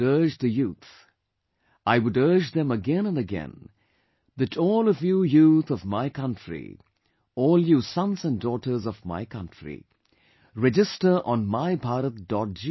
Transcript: I would urge the youth I would urge them again and again that all of you Youth of my country, all you sons and daughters of my country, register on MyBharat